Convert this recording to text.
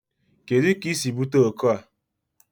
Kedu ka I si bute ọkọ a?